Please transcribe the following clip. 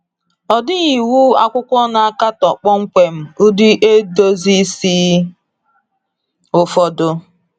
Ọ dịghị iwu akwụkwọ na-akatọ kpọmkwem ụdị edozi isi ụfọdụ.